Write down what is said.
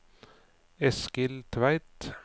Eskil Tveit